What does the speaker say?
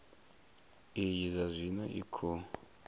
iyi zwa zwino i khou